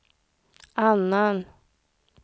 annan